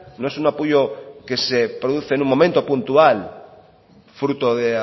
no es un apoyo que se produce en un momento puntual fruto de